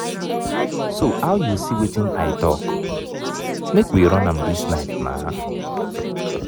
so how you see wetin i talk? make we run am dis night naa